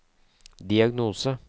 diagnose